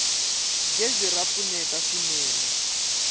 gezi ra pfuneta swinene